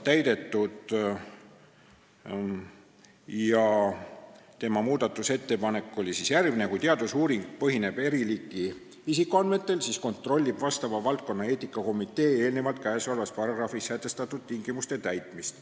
Muudatusettepanek on järgmine: kui teadusuuring põhineb eri liiki isikuandmetel, siis kontrollib vastava valdkonna eetikakomitee enne käesolevas paragrahvis sätestatud tingimuste täitmist.